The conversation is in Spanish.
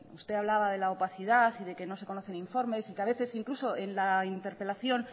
usted hablaba de la opacidad y de que no se conocen informes y que a veces incluso en la interpelación